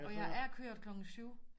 Og jeg er kørt klokken 7